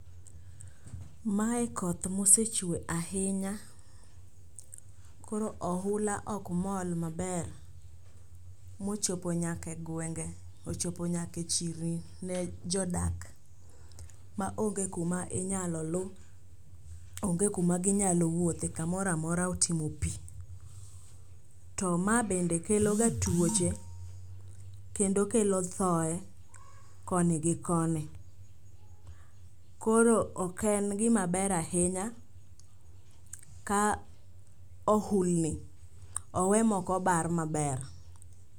Mae koth mosechwe ahinya koro ohula ok mol maber mochopo nyaka e gwenge ochopo nyaka e chirni ne jodak maonge kuma inyalo lu, onge kuma ginyalo wuothe kamoro amora otimo pi. To ma bende kelo ga tuoche kendo kelo thoe koni gi koni koro ok en gimaber ahinya ka ohulni owe mokobar maber.